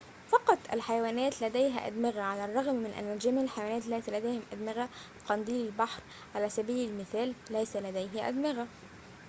فقط الحيوانات لديها أدمغة على الرغم من أن جميع الحيوانات ليست لديها أدمغة؛ قنديل البحر، على سبيل المثال، ليس لديه أدمغة